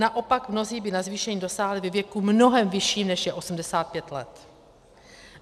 Naopak mnozí by na zvýšení dosáhli ve věku mnohem vyšším, než je 85 let.